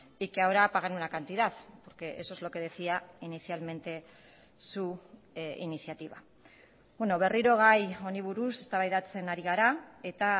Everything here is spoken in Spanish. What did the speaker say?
y que ahora pagan una cantidad porque eso es lo que decía inicialmente su iniciativa berriro gai honi buruz eztabaidatzen ari gara eta